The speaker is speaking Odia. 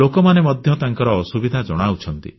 ଲୋକମାନେ ମଧ୍ୟ ସେମାନଙ୍କର ଅସୁବିଧା ଜଣାଉଛନ୍ତି